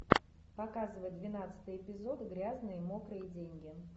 показывай двенадцатый эпизод грязные мокрые деньги